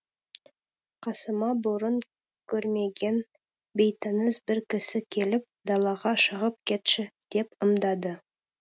қасыма бұрын көрмеген бейтаныс бір кісі келіп далаға шығып кетші деп ымдады